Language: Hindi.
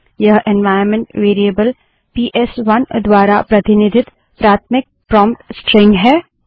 यह एन्वाइरन्मेंट वेरिएबल पीएसवन द्वारा प्रतिनिधित प्राथमिक प्रोंप्ट स्ट्रिंग है